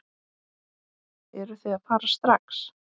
Eruð þið að fara strax?